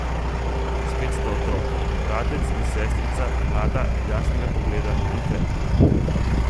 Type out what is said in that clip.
Spet sta otroka, bratec in sestrica, mlada, jasnega pogleda in krepka.